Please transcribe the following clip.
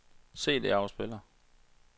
CD-afspiller